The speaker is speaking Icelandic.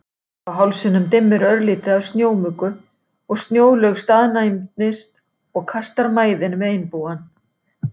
Uppi á hálsinum dimmir örlítið af snjómuggu og Snjólaug staðnæmist og kastar mæðinni við Einbúann.